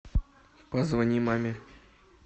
позвони маме